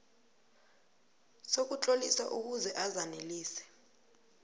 sokutlolisa ukuze azanelise